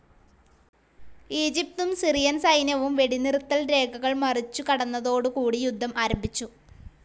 ഈജിപ്തും Syrian സൈന്യവും വെടിനിർത്തൽ രേഖകൾ മുറിച്ചു കടന്നതോടു കൂടി യുദ്ധം ആരംഭിച്ചു.